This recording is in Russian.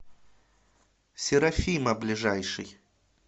серафима ближайший